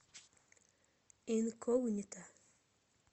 инкогнито